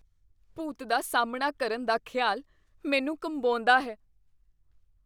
ਭੂਤ ਦਾ ਸਾਹਮਣਾ ਕਰਨ ਦਾ ਖਿਆਲ ਮੈਨੂੰ ਕੰਬਾਉਂਦਾ ਹੈ।